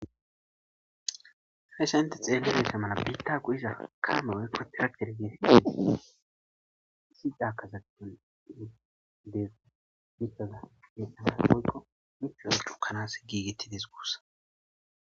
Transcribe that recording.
hayssan inte xeelleneese mala biitta kuhisha kaame oykko tira kergee si caakazaton deegu biitada hedhana poykqo mikro chukanas giigittides guussa